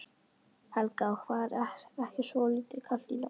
Helga: Og var ekki svolítið kalt í nótt?